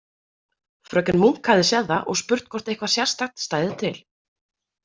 Fröken Munk hafði séð það og spurt hvort eitthvað sérstakt stæði til.